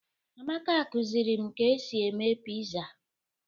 Amaka kụziri m ka e si eme piza.